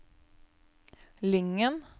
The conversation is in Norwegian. Lyngen